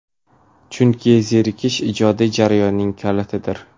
Chunki zerikish ijodiy jarayonning kalitidir.